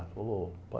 Ele falou, pai.